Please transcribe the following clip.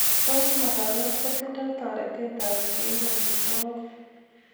Tos makawet kotindoi toretetab keib amitwogik